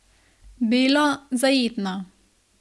Belo, zajetno.